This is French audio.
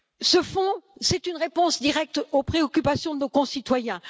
Ce Fonds est une réponse directe aux préoccupations de nos concitoyens.